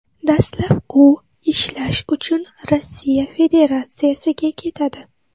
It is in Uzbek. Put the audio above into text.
Dastlab u ishlash uchun Rossiya Federatsiyasiga ketadi.